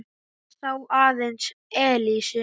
Hann sá aðeins Elísu.